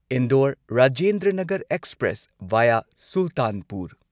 Indore Rajendranagar express via Sultanpur